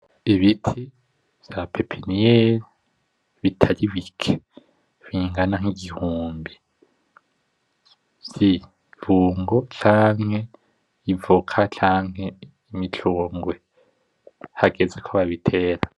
Ibiti vya pepiniere bitari bike bingana nk'igihumbi vy'ibungo canke, evoka canke, imicungwe hageze ko babitera.